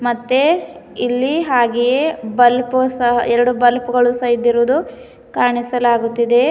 ಮತ್ತೆ ಇಲ್ಲಿ ಹಾಗೆಯೆ ಬುಲ್ಪ್ ಸಹ ಎರಡು ಬಲ್ಪ್ ಗಳು ಸಹ ಇದ್ದುರುವುದು ಕಾಣಿಸಲಾಗುತ್ತಿದೆ.